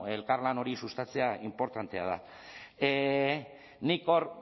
elkarlan hori sustatzea inportantea da nik hor